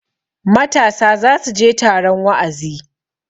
matasa za su je taron wa'azi